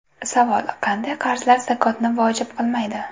Savol: Qanday qarzlar zakotni vojib qilmaydi?